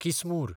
किसमूर